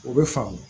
O bɛ faamu